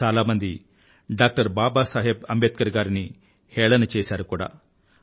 చాలామంది డాక్టర్ బాబా సాహెబ్ అంబేద్కర్ గారిని హేళన చేసారు కూడా